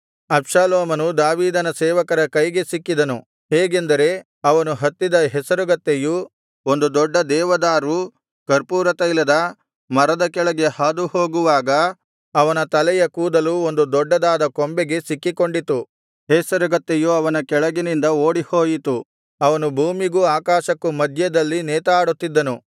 ಅಬ್ಷಾಲೋಮನು ದಾವೀದನ ಸೇವಕರ ಕೈಗೆ ಸಿಕ್ಕಿದನು ಹೇಗೆಂದರೆ ಅವನು ಹತ್ತಿದ ಹೆಸರುಗತ್ತೆಯು ಒಂದು ದೊಡ್ಡ ದೇವದಾರು ಕರ್ಪೂರತೈಲದ ಮರದ ಕೆಳಗೆ ಹಾದುಹೋಗುವಾಗ ಅವನ ತಲೆಯ ಕೂದಲು ಒಂದು ದೊಡ್ಡದಾದ ಕೊಂಬೆಗೆ ಸಿಕ್ಕಿಕೊಂಡಿತು ಹೇಸರಗತ್ತೆಯು ಅವನ ಕೆಳಗಿನಿಂದ ಓಡಿಹೋಯಿತು ಅವನು ಭೂಮಿಗೂ ಆಕಾಶಕ್ಕೂ ಮಧ್ಯದಲ್ಲಿ ನೇತಾಡುತ್ತಿದ್ದನು